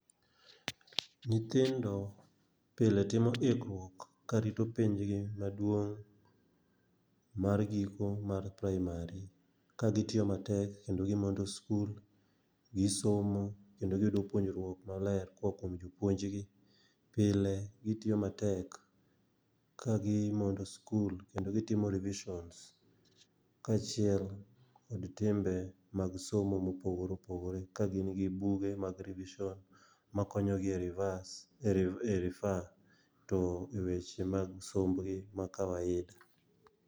Nyithindo pile timo ikruok ka rito penj gi maduong' mar giko mar praimari. Ka gitiyo matek kendo gi mondo skul, gisomo kendo giyudo puonjruok maler koa kuom jopuonj gi. Pile gitiyo matek ka gi mondo skul, kendo gitimo revishons kaachiel kod timbe mag somo mopogore opogore. Ka gin gi buge mag revishon, ma konyo gi e rivas, e rifa to e weche mag somb gi ma kawaida.